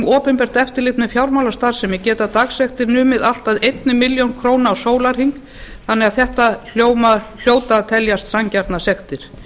opinbert eftirlit með fjármálastarfsemi geta dagsektir numið allt að einni milljón króna á sólarhring þannig að þetta hljóta að teljast sanngjarnar sektir